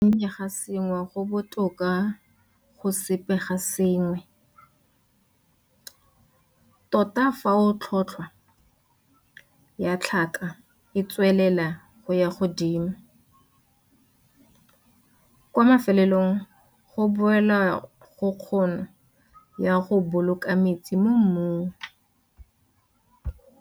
Go gonnye ga sengwe go botoka go sepe ga sengwe, tota fa tlhotlhwa ya tlhaka e tswelela go ya godimo. Kwa mafelelong go boela go kgono ya go boloka metsi mo mmung.